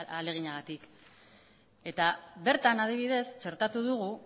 ahaleginagatik eta bertan adibidez txertatu dugu